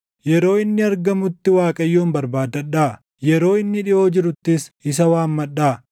Yeroo inni argamutti Waaqayyoon barbaaddadhaa; yeroo inni dhiʼoo jiruttis isa waammadhaa.